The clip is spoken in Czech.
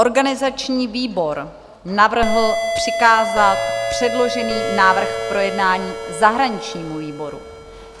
Organizační výbor navrhl přikázat předložený návrh k projednání zahraničnímu výboru.